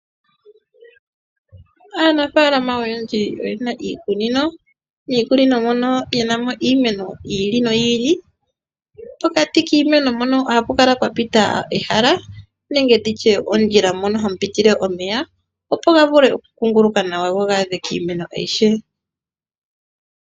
Aanafaalama oyendji oyena iikunino. Miikununo mono oyena mo iimeno yili noyili , nopokati kiimeno ohapu kala pwa pita ehala nenge ondjila mpoka hapu pitile omeya. Shino oshiwanawa molwaashoka ohashi kwathele omeya gakuunguluke guuka kiimeno aihe.